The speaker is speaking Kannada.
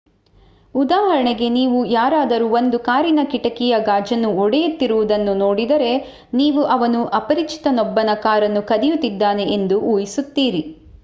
ಉದಾಹರಣೆಗೆ ನೀವು ಯಾರಾದರು ಒಂದು ಕಾರಿನ ಕಿಟಕಿಯ ಗಾಜನ್ನು ಒಡೆಯುತ್ತಿರುವುದನ್ನು ನೋಡಿದರೆ ನೀವು ಅವನು ಅಪರಿಚಿತನೊಬ್ಬನ ಕಾರನ್ನು ಕದಿಯುತಿದ್ದಾನೆ ಎಂದು ಊಹಿಸುತ್ತೀರಿ